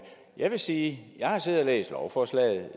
jeg vil sige at jeg har siddet og læst lovforslaget og